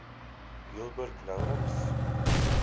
gilbert lawrence